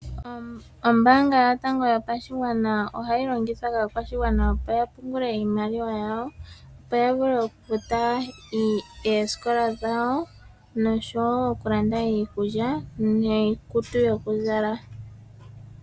Ombaanga yotango yopashigwana ohayi longithwa kaakwashigwana opo yapungule iimaliwa yawo , opo yavule okufuta oosikola dhawo noshowoo okulanda iikulya niikutu yokuzala.